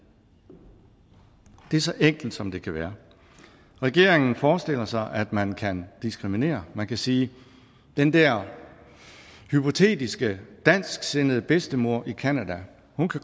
det er så enkelt som det kan være regeringen forestiller sig at man kan diskriminere man kan sige at den der hypotetiske dansksindede bedstemor i canada